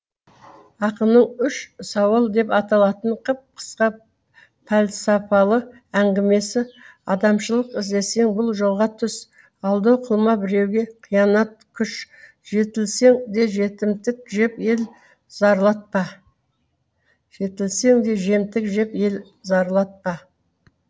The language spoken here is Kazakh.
ақынның үш сауал деп аталатын қып қысқа пәлсапалы әңгімесі адамшылық іздесең бұл жолға түс алдау қылма біреуге қиянат күш жетілсең де жемтік жеп ел зарлатпа